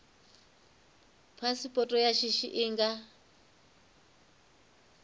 phasipoto ya shishi i nga